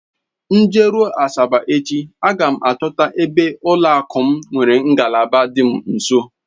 M jeruo Asaba echi, aga m achọta ebe ụlọakụ m nwere ngalaba dị m nso